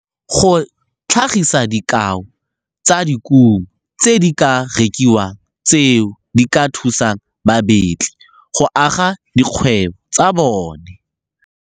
Go tlhagisa dikao tsa dikumo tse di ka rekiwang tseo di ka thusang babetli go aga dikgwebo tsa bona.